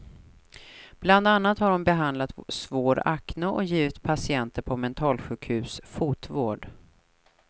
Bland annat har hon behandlat svår acne och givit patienter på mentalsjukhus fotvård.